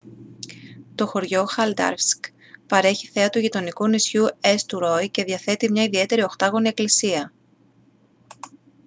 το χωριό haldarsvík παρέχει θέα του γειτονικού νησιού έστουροϊ και διαθέτει μια ιδιαίτερη οχτάγωνη εκκλησία